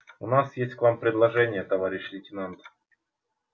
у нас есть к вам предложение товарищ лейтенант